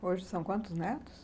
Hoje são quantos netos?